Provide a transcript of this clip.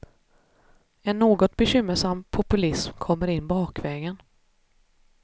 En något bekymmersam populism kommer in bakvägen.